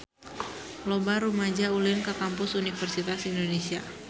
Loba rumaja ulin ka Kampus Universitas Indonesia